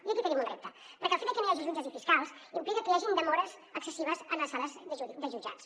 i aquí tenim un repte perquè el fet de que no hi hagi jutges i fiscals implica que hi hagin demores excessives a les sales de jutjats